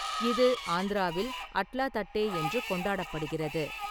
இது ஆந்திராவில் அட்லா தட்டே என்று கொண்டாடப்படுகிறது.